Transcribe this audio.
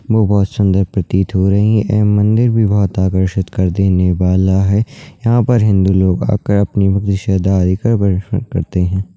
वो बहोत सुंदर प्रतीत हो रही है एवं मंदिर भी बहोत आकर्षित कर देने वाला है यहाँ पर हिंदू लोग आकर अपनी भक्ती श्रद्धा आदि कर करते हैं।